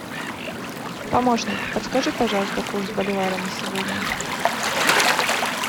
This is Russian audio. помощник подскажи пожалуйста курс боливара на сегодня